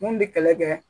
Mun bɛ kɛlɛ kɛ